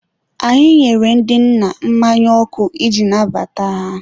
anyị nyere ndị nna mmanya ọkụ iji nabata ha.